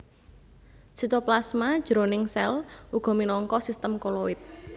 Sitoplasma jroning sèl uga minangka sistem koloid